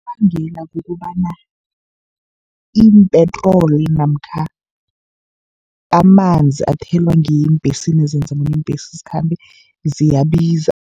Unobangela kukobana iimpetroli namkha amanzi athelwa ngeembhesini, ezenza bona iimbhesi zikhambe ziyabiza.